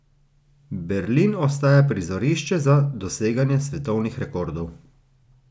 Berlin ostaja prizorišče za doseganje svetovnih rekordov.